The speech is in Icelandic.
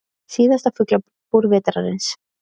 Síðasta Fuglabúr vetrarins